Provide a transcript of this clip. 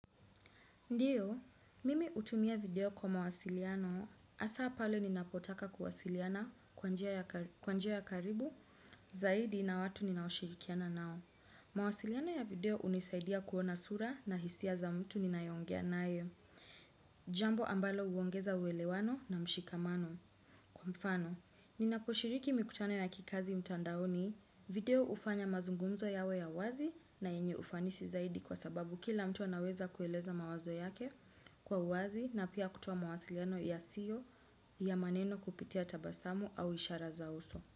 Ndiyo, mimi hutumia video kwa mawasiliano, asa pale ninapotaka kuwasiliana kwa njia ya karibu, zaidi na watu ninashirikiana nao. Mawasiliano ya video unisaidia kuona sura na hisia za mtu ninayongea nae. Jambo ambalo huongeza uwelewano na mshikamano. Kwa mfano, ninaposhiriki mikutano ya kikazi mtandaoni, video ufanya mazungumzo yawe ya wazi na yenye ufanisi zaidi kwa sababu kila mtu anaweza kueleza mawazo yake. Kwa uwazi na pia kutowa mawasiliano yasiyo ya maneno kupitia tabasamu au ishara za uso.